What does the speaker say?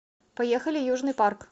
поехали южный парк